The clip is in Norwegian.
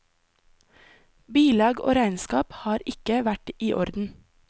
Bilag og regnskap har ikke vært i orden.